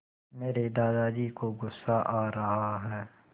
मेरे दादाजी को गुस्सा आ रहा है